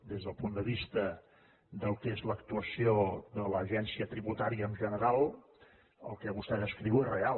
des del punt de vista del que és l’actuació de l’agència tributària en general el que vostè descriu és real